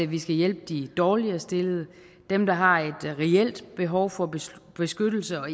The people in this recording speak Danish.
vi skal hjælpe de dårligere stillede dem der har et reelt behov for beskyttelse og